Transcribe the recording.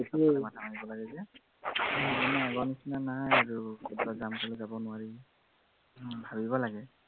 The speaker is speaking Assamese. পইচাৰ মাথা মাৰিব লাগে যে, এতিয়া আগৰ নিচিনা নাই আৰু, কৰবাত যাম কলেই যাব নোৱাৰি ভাবিব লাগে